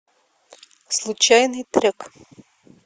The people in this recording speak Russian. случайный трек